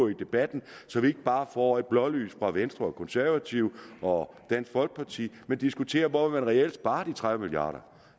i debatten så vi ikke bare får et blålys fra venstre og de konservative og dansk folkeparti men diskuterer hvor man reelt vil spare de tredive milliard